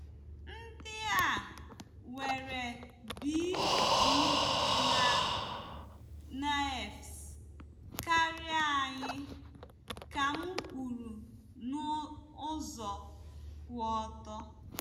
"Ndị a nwere bJidennaefs karịa anyị," ka m kwuru n'ụzọ kwụ ọtọ.